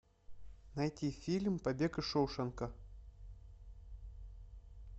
найти фильм побег из шоушенка